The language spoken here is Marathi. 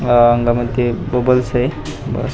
अह मग ते बबल्स आहेत बस --